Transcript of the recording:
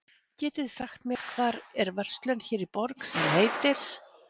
Getiði sagt mér, hvar er verslun hér í borg, sem heitir